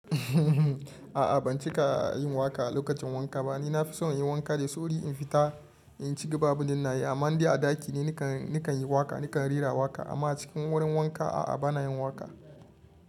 A'a ban cika yin waka a lokacin wanka ba. A'a ban cika yin waka a lokacin wanka ba. Amma ni a ɗaki ne nakan yi waka, nakan rera waka. Amma cikin wurin wanka a'a bana yin waka.